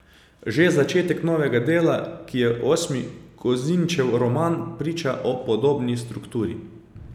Že začetek novega dela, ki je osmi Kozinčev roman, priča o podobni strukturi.